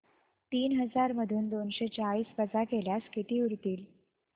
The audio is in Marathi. तीन हजार मधून दोनशे चाळीस वजा केल्यास किती उरतील